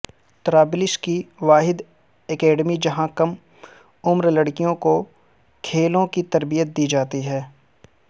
طرابلس کی واحد اکیڈمی جہاں کم عمر لڑکیوں کو کھیلوں کی تربیت دی جاتی ہے